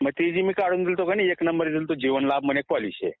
मग ते जे मी काढून दिलं होतं ती एक नंबर गेल होता जीवनलाभ म्हणून एक पॉलिसी आहे